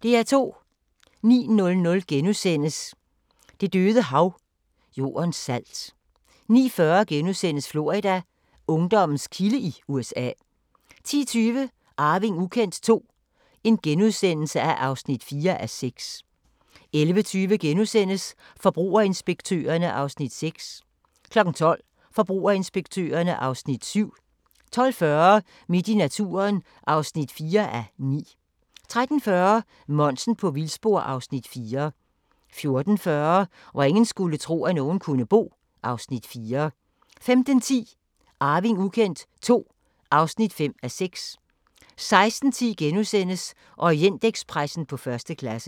09:00: Det Døde Hav – Jordens salt * 09:40: Florida: Ungdommens kilde i USA * 10:20: Arving ukendt II (4:6)* 11:20: Forbrugerinspektørerne (Afs. 6)* 12:00: Forbrugerinspektørerne (Afs. 7) 12:40: Midt i naturen (4:9) 13:40: Monsen på vildspor (Afs. 4) 14:40: Hvor ingen skulle tro, at nogen kunne bo (Afs. 4) 15:10: Arving ukendt II (5:6) 16:10: Orientekspressen på første klasse *